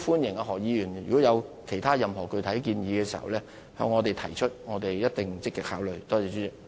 如果何議員在這方面有任何具體建議，歡迎向我們提出，我們一定會積極考慮。